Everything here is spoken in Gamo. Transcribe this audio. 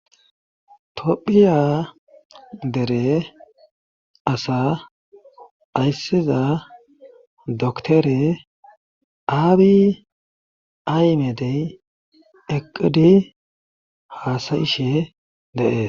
topphiya dere asa ayssiza doktore aabi aymedey eqqidi haasayishe deees